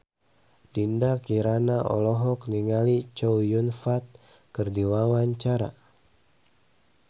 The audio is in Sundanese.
Dinda Kirana olohok ningali Chow Yun Fat keur diwawancara